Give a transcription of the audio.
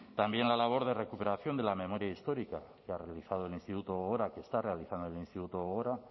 también la labor de recuperación de la memoria histórica que ha realizado el instituto gogora que está realizando el instituto gogora